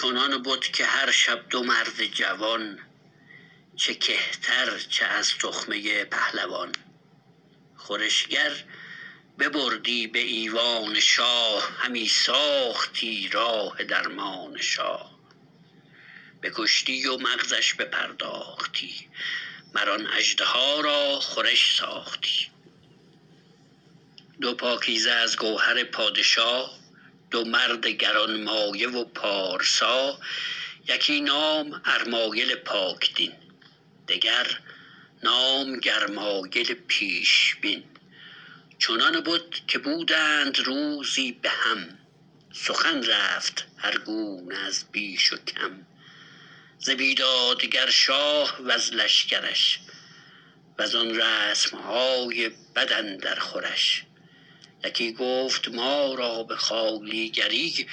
چنان بد که هر شب دو مرد جوان چه کهتر چه از تخمه پهلوان خورشگر ببردی به ایوان شاه همی ساختی راه درمان شاه بکشتی و مغزش بپرداختی مر آن اژدها را خورش ساختی دو پاکیزه از گوهر پادشا دو مرد گرانمایه و پارسا یکی نام ارمایل پاک دین دگر نام گرمایل پیشبین چنان بد که بودند روزی به هم سخن رفت هر گونه از بیش و کم ز بیدادگر شاه وز لشکرش و زان رسم های بد اندر خورش یکی گفت ما را به خوالیگری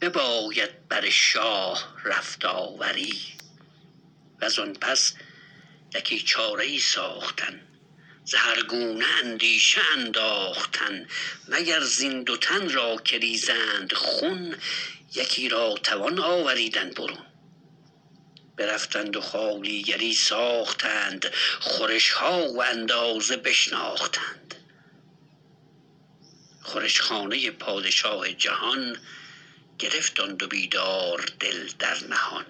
بباید بر شاه رفت آوری و زان پس یکی چاره ای ساختن ز هر گونه اندیشه انداختن مگر زین دو تن را که ریزند خون یکی را توان آوریدن برون برفتند و خوالیگری ساختند خورش ها و اندازه بشناختند خورش خانه پادشاه جهان گرفت آن دو بیدار دل در نهان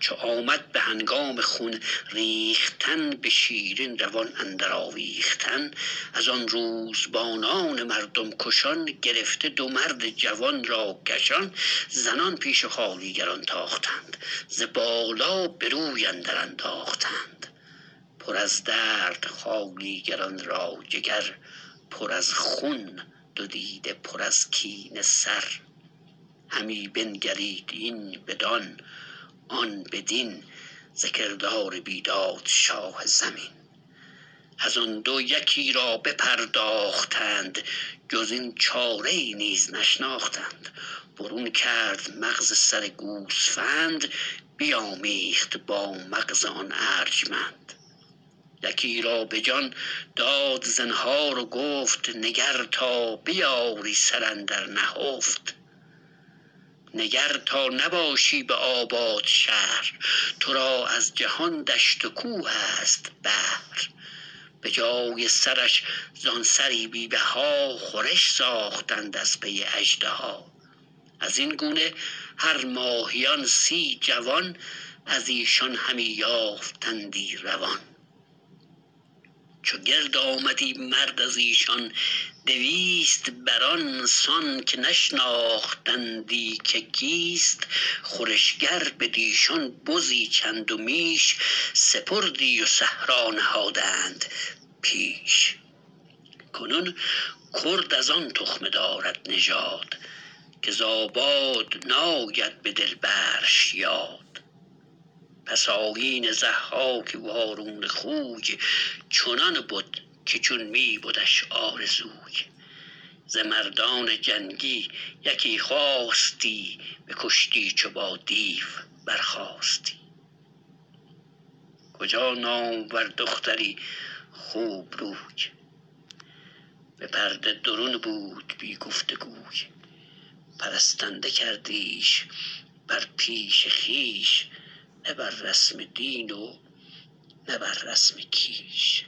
چو آمد به هنگام خون ریختن به شیرین روان اندر آویختن از آن روزبانان مردم کشان گرفته دو مرد جوان را کشان زنان پیش خوالیگران تاختند ز بالا به روی اندر انداختند پر از درد خوالیگران را جگر پر از خون دو دیده پر از کینه سر همی بنگرید این بدان آن بدین ز کردار بیداد شاه زمین از آن دو یکی را بپرداختند جز این چاره ای نیز نشناختند برون کرد مغز سر گوسفند بیامیخت با مغز آن ارجمند یکی را به جان داد زنهار و گفت نگر تا بیاری سر اندر نهفت نگر تا نباشی به آباد شهر تو را از جهان دشت و کوه است بهر به جای سرش زان سری بی بها خورش ساختند از پی اژدها از این گونه هر ماهیان سی جوان از ایشان همی یافتندی روان چو گرد آمدی مرد از ایشان دویست بر آن سان که نشناختندی که کیست خورشگر بدیشان بزی چند و میش سپردی و صحرا نهادند پیش کنون کرد از آن تخمه دارد نژاد که ز آباد ناید به دل برش یاد پس آیین ضحاک وارونه خوی چنان بد که چون می بدش آرزوی ز مردان جنگی یکی خواستی بکشتی چو با دیو برخاستی کجا نامور دختری خوبروی به پرده درون بود بی گفت گوی پرستنده کردیش بر پیش خویش نه بر رسم دین و نه بر رسم کیش